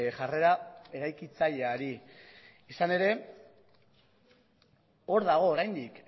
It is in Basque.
jarrera eraikitzaileari izan ere hor dago oraindik